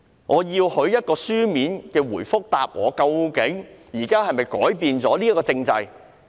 我要他給我一個書面回覆，究竟現時是否改變了這個體制？